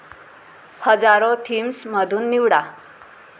हजारो थीम्स मधुन निवडा